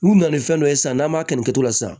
N'u nana ni fɛn dɔ ye sisan n'an m'a kɛ nin kɛcogo la sisan